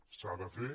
s’ha de fer